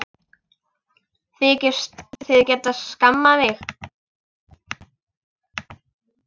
Þykist þið geta skammað mig!